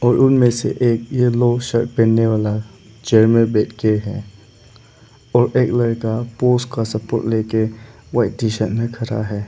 और उनमें से एक येलो शर्ट पहनने वाला चेयर में बैठ के है और एक लड़का पोल्स का सपोर्ट ले के व्हाइट टी शर्ट में खड़ा है।